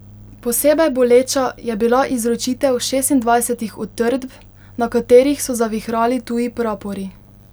Posebej boleča je bila izročitev šestindvajsetih utrdb, na katerih so zavihrali tuji prapori.